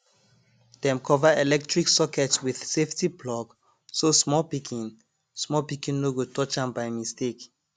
dem cover electric sockets with safety plug so small pikin small pikin no go touch am by mistake